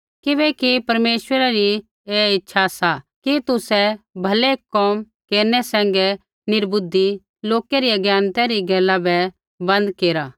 किबैकि परमेश्वरै री ऐ इच्छा सा कि तुसै भलै कोम केरनै सैंघै निर्बुद्धि लोकै री अज्ञानतै री गैला बै बन्द केरा